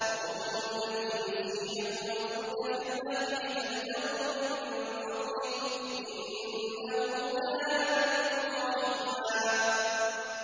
رَّبُّكُمُ الَّذِي يُزْجِي لَكُمُ الْفُلْكَ فِي الْبَحْرِ لِتَبْتَغُوا مِن فَضْلِهِ ۚ إِنَّهُ كَانَ بِكُمْ رَحِيمًا